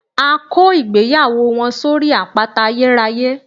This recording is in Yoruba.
A kó ìgbéyàwó wọn sórí àpáta ayérayé